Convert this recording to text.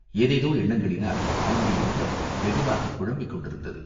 ஏதேதோ எண்ணங்களினால் அவனுடைய உள்ளம் வெகுவாகக் குழம்பிக் கொண்டிருந்தது.